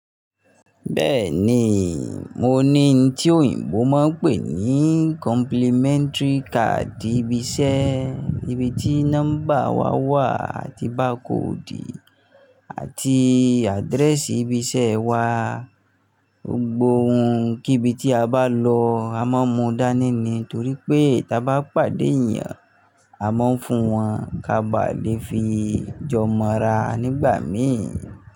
Bẹ́ẹ̀ni, mo ní ohun tí òyìnbó máa ń pè ní complimentary card ibi iṣẹ́, ibi tí nọ́mbà wa wà àti barcode àti address ibi iṣẹ́ wa. Gbogbo ohun kibi tí a bá lọ a máa mú dání ni torí pé tí a bá pàdé èyàn, a máa ń fún wọn ka má ba lè fi jọ mọra nígbà mìí.